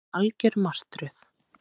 Þetta er algjör martröð